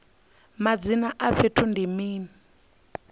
madzina a fhethu ndi mini